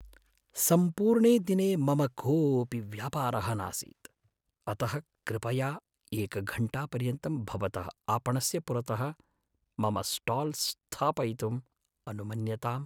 सम्पूर्णे दिने मम कोपि व्यापारः नासीत्, अतः कृपया एकघण्टापर्यन्तं भवतः आपणस्य पुरतः मम स्टाल् स्थापयितुम् अनुमन्यताम्।